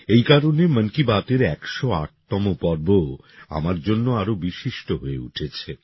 এই কারণে মন কি বাতএর একশো আটতম পর্ব আমার জন্য আরও বিশিষ্ট হয়ে উঠেছে